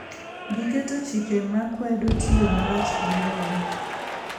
Giketo chike makwedo tiyo marach gi lowo.